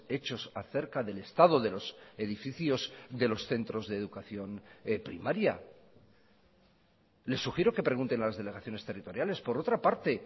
hechos acerca del estado de los edificios de los centros de educación primaria les sugiero que pregunten a las delegaciones territoriales por otra parte